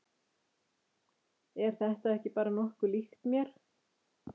Er þetta ekki bara nokkuð líkt mér?